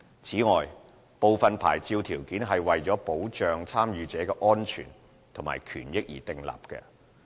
此外，部分牌照條件是為了保障參與者的安全和權益而訂立。